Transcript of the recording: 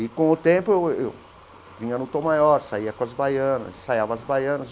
E, com o tempo, eu vinha no Tom Maior, saía com as baianas, ensaiava as baianas.